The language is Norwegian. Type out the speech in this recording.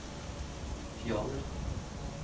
Fjaler